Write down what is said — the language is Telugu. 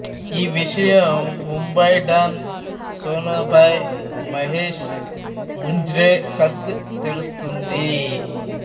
ఈ విషయం ముంబాయి డాన్ సోనాభాయ్ మహేష్ ముంజ్రేకర్కు తెలుస్తుంది